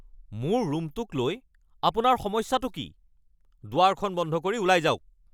মোৰ ৰুমটোক লৈ আপোনাৰ সমস্যাটো কি? দুৱাৰখন বন্ধ কৰি ওলাই যাওক। (পুত্ৰ)